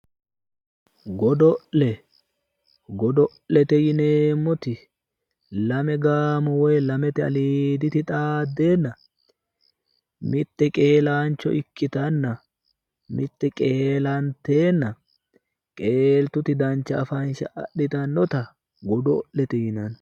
Godo'le godo'lete yineemmoti lame gaamo woyi lamete aliiditi xaaddeenna mitte qeelaancho ikkiteenna. mitte qeelanteenna qeeltuti dancha afansha aditannota godo'lete yinanni.